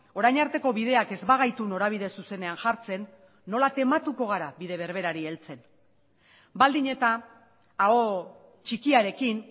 orain arteko bideak ez bagaitu norabide zuzenean jartzen nola tematuko gara bide berberari heltzen baldin eta aho txikiarekin